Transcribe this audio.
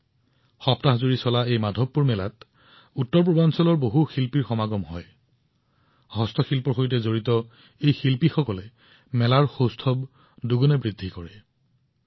সপ্তাহজোৰা মাধৱপুৰ মেলাত উত্তৰপূৰ্বাঞ্চলৰ সকলো ৰাজ্যৰ শিল্পী উপস্থিত হয় হস্তশিল্পৰ সৈতে জড়িত শিল্পীসকল উপস্থিত হয় আৰু এই মেলাত সোণত সুৱগা চৰায়